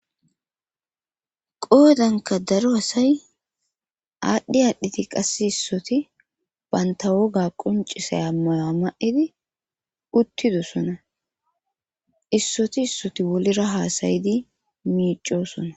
Qoodanka daro hasay aadhdhi aadhdhiti qasse issoti baynta woga qoncisaya maya ma7idi uttidosona issoti issoti wolira haasayidi miicosona